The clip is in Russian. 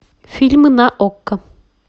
фильмы на окко